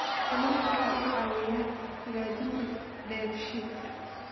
Kalluunku waxa uu caawiyaa hagaajinta dheefshiidka.